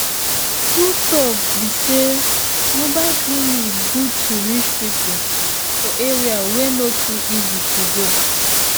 true talk be say mobile clinic good to reach people for area wey no too easy to go.